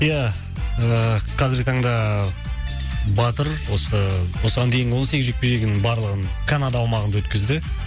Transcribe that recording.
ия ыыы қазіргі таңда батыр осы осыған дейінгі он сегіз жекпе жегінің барлығын канада аумағында өткізді